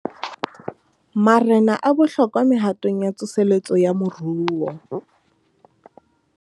Marena a bohlokwa mehatong ya tsoseletso ya moruo